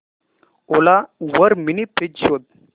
ओला वर mini fridge शोध